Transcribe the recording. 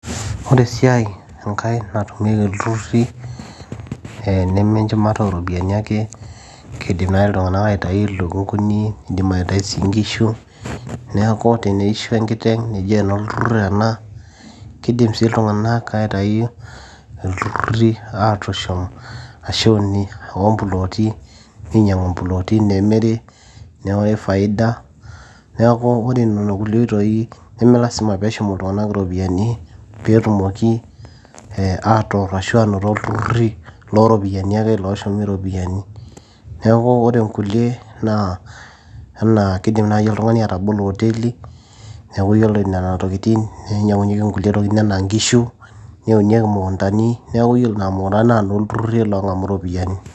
ore esiai enkae natumieki ilturruri nemenchumata ooropiani ake kidim naaji iltung'anak aitai ilukunguni nidim aitai sii inkishu neeku teneisho enkiteng neji enolturrur ena kidim sii iltung'anak aitai ilturruri atushum ashuni omploti ninyiang'u imploti nemiri newori faida neeku ore nena kulie oitoi nemelasima peeshum iltung'anak iropiyiani peetumoki atorr ashu anoto ilturruri looropiyiani ake looshum iropiyiani neeku ore inkulie naa enaa kidim naaji oltung'ani atabolo oteli neeku yiolo nena tokitin ninyiang'unyieki inkulie tokitin enaa inkishu neunieki imukuntani neeku yiolo nena mukuntani naa nolturruri loong'amu iropiyiani.